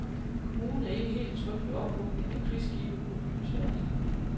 Kommunen er ikke helt tryg ved ophugning af krigsskibe på byens værft.